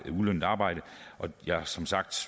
ulønnet arbejde og det som sagt